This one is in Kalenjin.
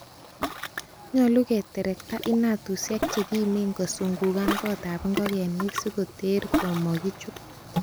Nyolu keterekta inatusiek chekimen kosungugan gotab ingogenik sikoter komokichut.